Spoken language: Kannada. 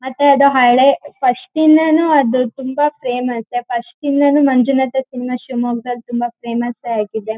ಮತ್ತೆ ಅದು ಹಳೆ ಫಸ್ಟ್ ಯಿಂದಾನೂ ಅದು ತುಂಬಾ ಫೇಮಸ್ ಫಸ್ಟ್ ಯಿಂದಾನೂ ಮಂಜುನಾಥ ಸಿನಿಮಾ ಶಿಮೊಗ್ಗದಲ್ಲಿ ತುಂಬಾ ಫೇಮಸ್ ಆಗಿದೆ.